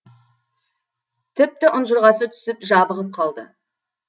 тіпті ұнжырғасы түсіп жабығып қалды